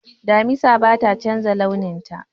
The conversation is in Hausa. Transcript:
Damisa bata chanza launin ta